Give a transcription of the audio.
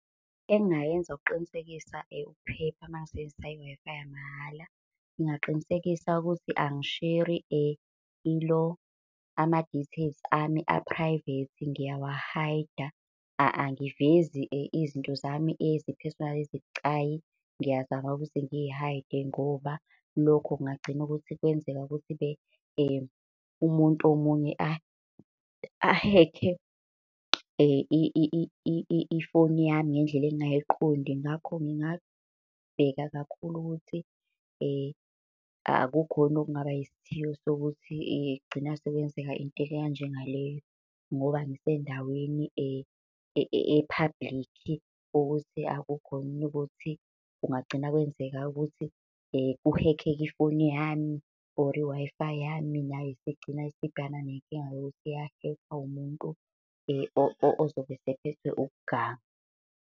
Engingayenza ukuqinisekisa ukuphepha uma ngisebenzisa i-Wi-Fi yamahhala. Ngingaqinisekisa ukuthi angisheri ilo, ama-details ami a-private ngiyawa-hide-a. Angivezi izinto zami eziphesonali ezibucayi, ngiyazama ukuthi ngi-hide-e ngiyazama ukuthi Ngoba lokho kungagcina ukuthi kwenzeka ukuthi-ke umuntu omunye ahekhe ifoni yami ngendlela engingayiqondi. Ngakho ngingabheka kakhulu ukuthi akukhoni okungaba isithiyo sokuthi kugcine sekwenzeka into enjenga leyo, ngoba ngisendaweni e-public. Ukuthi akukhoni ukuthi kungagcina kwenzeka ukuthi kuhekheke ifoni yami or i-Wi-Fi yami nayo isigcina isibhekana nenkinga yokuthi yahekhwa umuntu ozobe esephethwe ukuganga.